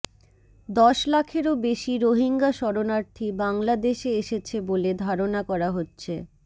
দশ লাখেরও বেশি রোহিঙ্গা শরণার্থী বাংলাদেশে এসেছে বলে ধারণা করা হচ্ছে